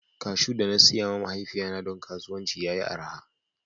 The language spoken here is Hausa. Kashu da na siya ma mahaifiya na don kasuwanci ya yi araha.